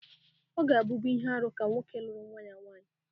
Ọ gābu ihe-árú ka nwoke luru nwa-ya nwanyi.